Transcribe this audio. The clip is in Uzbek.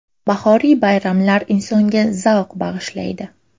Bahoriy bayramlar insonga zavq bag‘ishlaydi!